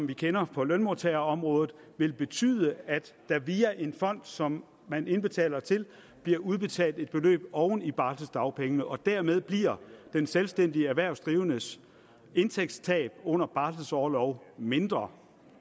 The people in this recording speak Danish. vi kender for lønmodtagerområdet vil betyde at der via en fond som man indbetaler til bliver udbetalt et beløb oven i barseldagpengene og dermed bliver den selvstændige erhvervsdrivendes indtægtstab under barselorloven mindre